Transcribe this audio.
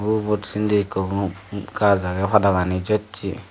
ubot sindi ekko gaj agey pada gani jossey.